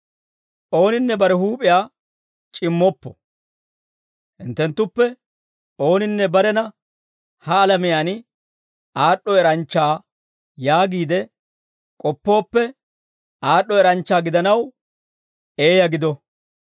Ooninne bare huup'iyaa c'immoppo. Hinttenttuppe ooninne barena ha alamiyaan aad'd'o eranchcha yaagiide k'oppooppe, aad'd'o eranchcha gidanaw, eeyaa gido.